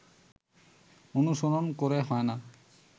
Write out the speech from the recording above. অনুসরন করে হয়না